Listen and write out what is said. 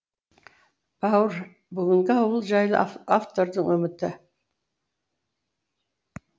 бауыр бүгінгі ауыл жайлы автордың үміті